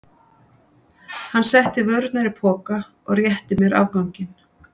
Hann setti vörurnar í poka og rétti mér afganginn.